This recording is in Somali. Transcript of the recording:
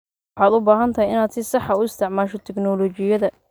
Waxaad u baahan tahay inaad si sax ah u isticmaasho tignoolajiyada.